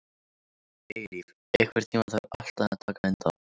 Eilíf, einhvern tímann þarf allt að taka enda.